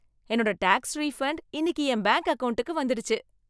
என்னோட tax refund இன்னிக்கு என் பேங்க் அக்கவுண்டுக்கு வந்திடுச்சு